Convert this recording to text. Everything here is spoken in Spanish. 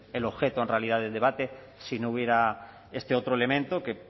el objeto en realidad del debate si no hubiera este otro elemento que